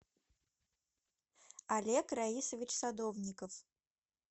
олег раисович садовников